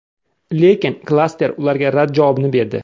Lekin klaster ularga rad javobini berdi.